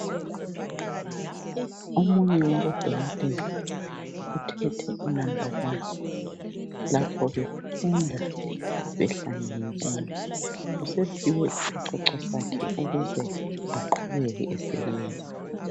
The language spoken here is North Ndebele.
Omunye wabodokotela uthethe unamba wani lapho befunda behlangene bonke. Usephiwe isicoco sakhe ukuze aqhubeke esebenza.